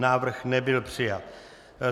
Návrh nebyl přijat.